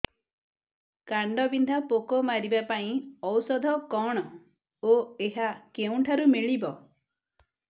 କାଣ୍ଡବିନ୍ଧା ପୋକ ମାରିବା ପାଇଁ ଔଷଧ କଣ ଓ ଏହା କେଉଁଠାରୁ ମିଳିବ